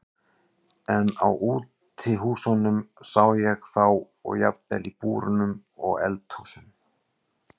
En á útihúsum sá ég þá og jafnvel í búrum og eldhúsum.